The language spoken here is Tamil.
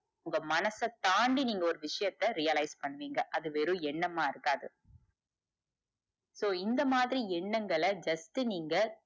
உங்க மனச தாண்டி நீங்க ஒரு விஷயத்த realise பண்ணுவீங்க அது வெறும் என்னம்மா இருக்காது so இந்த மாதிரி எண்ணங்கள just நீங்க,